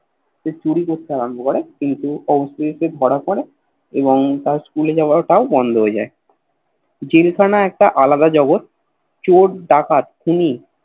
সে চুরি করতে আরম্ভ করে কিন্তু অবশেষে ধরা পরে এবং তার School যাওয়া টাও বন্ধ হয়ে যায় জেল খানা একটা আলাদা জগৎ চোর ডাকাত খুনী